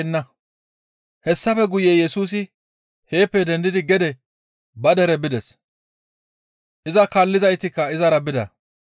Hessafe guye Yesusi heeppe dendidi gede ba dere bides. Iza kaallizaytikka izara bida.